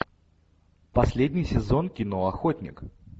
последний сезон кино охотник